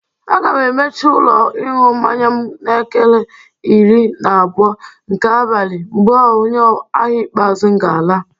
Aga m emechi ụlọ ịñụ mmanya m n'elekere iri na abụọ nke abalị mgbe onye ahịa ikpeazụ m ga-ala.